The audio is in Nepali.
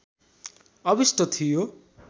अभिष्ट थियो